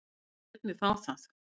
Hún lét mig fá það.